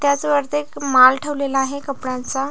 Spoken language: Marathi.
त्याच वरती एक माल ठेवलेला आहे कपड्याचा--